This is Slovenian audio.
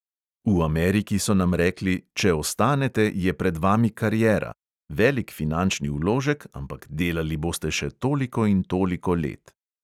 V ameriki so nam rekli: če ostanete, je pred vami kariera – velik finančni vložek, ampak delali boste še toliko in toliko let.